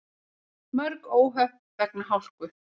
Mörg óhöpp vegna hálku